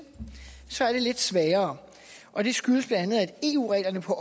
så er det lidt sværere og det skyldes bla at eu reglerne på